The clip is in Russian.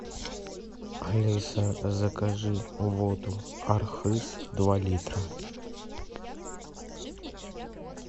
алиса закажи воду архыз два литра